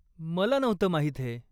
मला नव्हतं माहित हे.